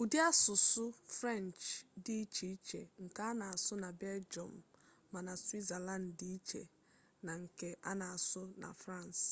ụdị asụsụ french dị iche iche nke a na-asụ na belgium ma na switzerland dị iche na nke a na-asụ na france